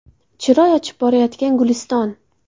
Chiroy ochib borayotgan Guliston.